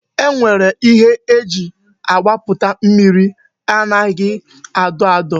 E nwere ihe e ji agbaputa mmiri anaghị adọ adọ